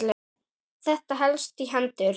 Þetta helst í hendur.